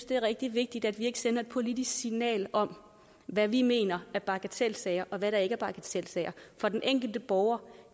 det er rigtig vigtigt at vi ikke sender et politisk signal om hvad vi mener er bagatelsager og hvad der ikke er bagatelsager for den enkelte borger